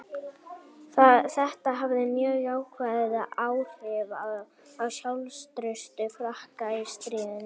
Þetta hafði mjög jákvæð áhrif á sjálfstraust Frakka í stríðinu.